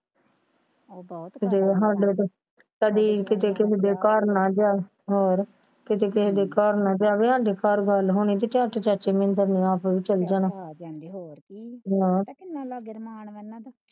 ਹਾਡੇ ਤੇ ਕਦੀ ਕਿਸੇ ਦੇ ਘਰ ਨਾ ਜਾ ਹੋਰ ਕਦੀ ਕਿਸੇ ਦੇ ਘਰ ਨਾ ਜਾਵੇ ਹਾਡੇ ਘਰ ਵੱਲ ਹੋਣੇ ਚਲ ਜਾਣਾ